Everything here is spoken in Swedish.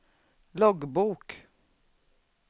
loggbok